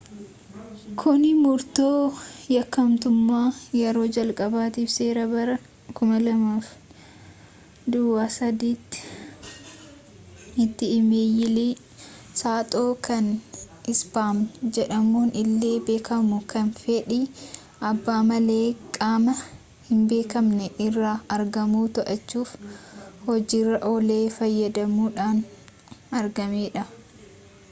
kuni murtoo yakkamtummaa yeroo jalqabaatiif seera bara 2003tti ii-meeyilii saaxoo kan ispaam jedhamuun illee beekamu kan fedhii abbaa malee qaama hinbeekamne irraa ergamu to'achuuf hojiirra oole fayyadamuudhaan argamedha